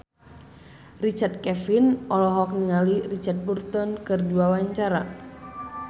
Richard Kevin olohok ningali Richard Burton keur diwawancara